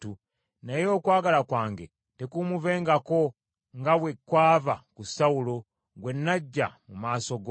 Naye okwagala kwange tekumuvengako, nga bwe kwava ku Sawulo, gwe naggya mu maaso go.